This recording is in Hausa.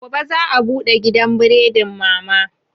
Gobe za a bude gidan buredin mama